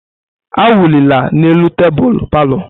Awụlila n'elu tebụl palọ!